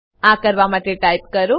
આ કરવા માટે ટાઈપ કરો